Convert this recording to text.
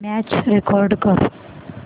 match record कर